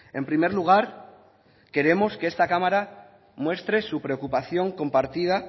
en primer lugar queremos que esta cámara muestre su preocupación compartida